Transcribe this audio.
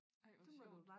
Ej hvor sjovt